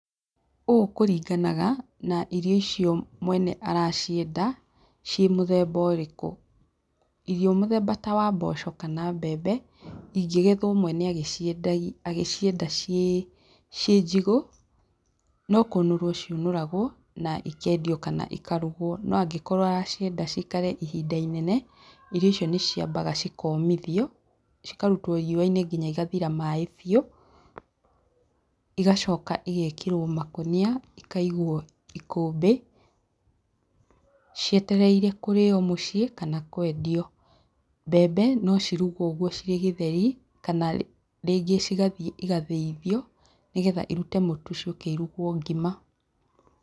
Ũũ kũringanaga na irio icio mwene aracienda ciĩ mũthemba ũrĩkũ, irio ta mũthemba wa mboco kana mbembe ingĩgethwo mwene angĩcienda ciĩ njigũ, no kũnũrwo ciũnũragwo na ikendio kana ikarugwo, no angĩkorwo aracienda cikare ihinda inene, irio icio nĩciambaga cikomithio cikarutwo riũa-inĩ nginya cigathira maaĩ biu, igacoka ĩgekĩrwo makũnia ikaigwo ikũmbĩ, cietereire kũrĩo mũciĩ kana kwendio. Mbembe no cirugwo ũguo ciĩ gĩtheri kana rĩngĩ cigathie cigathĩithio nĩgetha cirute mũtu ciũke irugwo ngima.